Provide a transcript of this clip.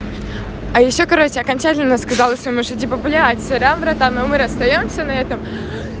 а ещё короче окончательно сказала все типа блять сорян братан мы расстаёмся на этом